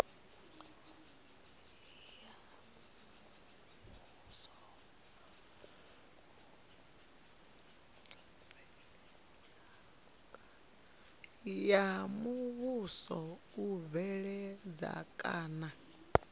ya muvhuso u bveledza kana